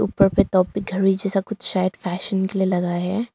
ऊपर पे टॉपिक घड़ी जैसा कुछ शायद फैशन के लिए लगाया है।